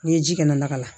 N'i ye ji kɛnɛ lakalan